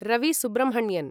Ravi Subrahmanyan